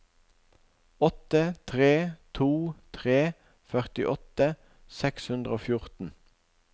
åtte tre to tre førtiåtte seks hundre og fjorten